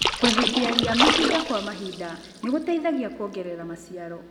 Kwehutia ria mahinda kwa mahinda nĩgũteithagia kuongerera maciaro.